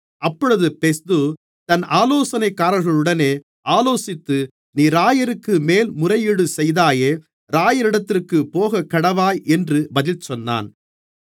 அப்பொழுது பெஸ்து தன் ஆலோசனைக்காரர்களுடனே ஆலோசித்து நீ இராயருக்கு மேல்முறையீடு செய்தாயே இராயரிடத்திற்கே போகக்கடவாய் என்று பதில் சொன்னான்